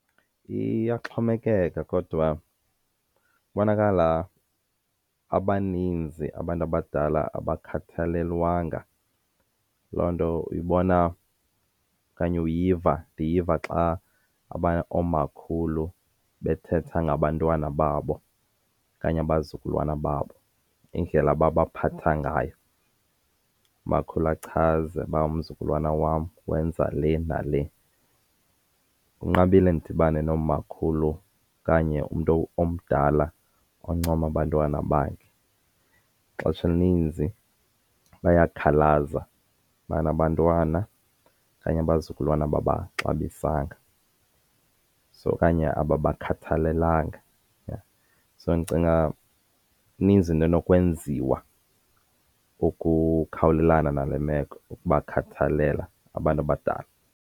Iyaxhomekeka kodwa ibonakala abaninzi abantu abadala abakhathalelwanga. Loo nto uyibona okanye uyiva, ndiyiva xa oomakhulu bethetha ngabantwana babo okanye abazukulwana babo indlela ababaphatha ngayo. Umakhulu achaze uba umzukulwana wam wenza le nale. Kunqabile ndidibane nomakhulu okanye umntu omdala oncoma abantwana bakhe. Ixesha elininzi bayakhalaza ubana abantwana okanye abazukulwana ababaxabisanga okanye abakhathalelanga. So ndicinga ininzi into enokwenziwa ukukhawulelana nale meko ukubakhathalela abantu abadala.